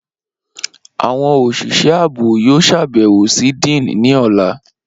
Awọn oṣiṣẹ aabo yoo ṣabẹwo si Dean ni ọla.